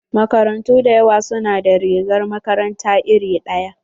Makarantu da yawa su na da rigar makaranta iri ɗaya.